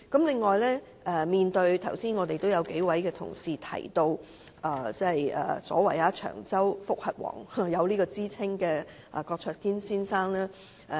此外，剛才數位同事提到有"長洲覆核王"之稱的郭卓堅先生。